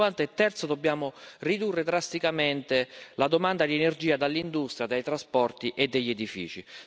2050 terzo, dobbiamo ridurre drasticamente la domanda di energia dell'industria, dei trasporti e degli edifici.